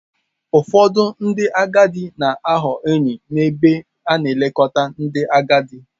Ụfọdụ ndị agadi na-aghọ enyi n'ebe a na-elekọta ndị agadi.